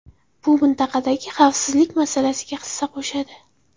Bu mintaqadagi xavfsizlik masalasiga hissa qo‘shadi.